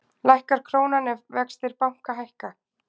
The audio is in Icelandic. Lækkar krónan ef vextir banka hækka?